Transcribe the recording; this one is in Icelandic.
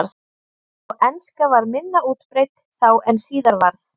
Og enska var minna útbreidd þá en síðar varð.